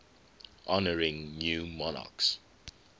honouring new monarchs